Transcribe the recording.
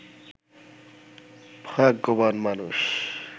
ভাগ্যবান মানুষ